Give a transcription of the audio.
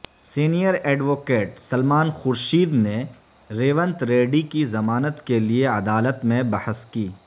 senior advocate Salman Khurshid نے ریونت ریڈی کی ضمانت کےلیے عدالت میں بحث کی